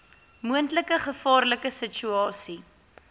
moontlike gevaarlike situasie